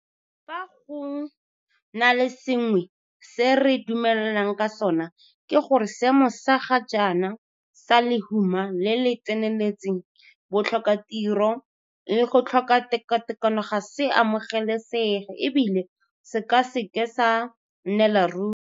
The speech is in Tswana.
Fa go na le sengwe se re dumelanang ka sona, ke gore seemo sa ga jaana sa lehuma le le tseneletseng, botlhokatiro le go tlhoka tekatekano ga se amogelesege e bile se ka se ke sa nnela ruri.